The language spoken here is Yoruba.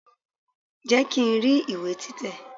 Jẹ́ kí n rí ìwé tí tẹ̀!